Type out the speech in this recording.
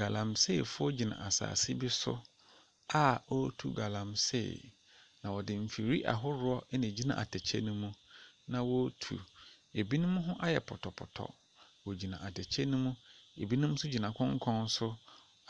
Galmseefoɔ gyina asaase bi so a ɔɔtu galamsee, na ɔde mfiri ahodoɔ ɛna egyina atɛkyɛ no mu na ɔɔtu. Ebinom ho ayɛ pɔtɔ pɔtɔ, wɔgyina atɛkyɛ no mu, ebinom so gyina konkɔn so